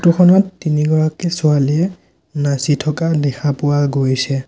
Photo খনত তিনিগৰাকী ছোৱালীয়ে নাচি থকা দেখা পোৱা গৈছে।